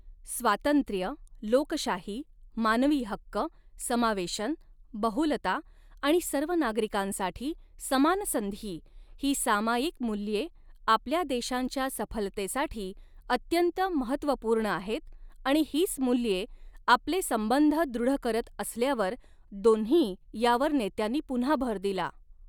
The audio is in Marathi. स्वातंत्र्य, लोकशाही, मानवी हक्क, समावेशन, बहुलता आणि सर्व नागरिकांसाठी समान संधी ही सामायिक मूल्ये आपल्या देशांच्या सफलतेसाठी अत्यंत महत्त्वपूर्ण आहेत आणि हीच मूल्ये आपले संबंध दृढ़ करत असल्यावर दोन्ही यावर नेत्यांनी पुन्हा भर दिला.